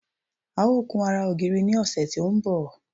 A ó kun ara ògiri ní ọ̀sẹ̀ tí ó ń bọ̀